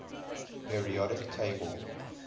periodic table